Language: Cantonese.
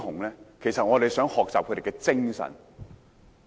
因為我們想學習他們的精神。